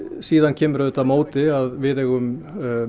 síðan kemur á móti að við höfum